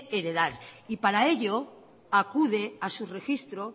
heredar y para ello acude a su registro